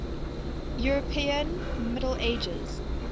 european middle ages